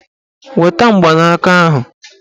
Weta mgbanaka ahụ!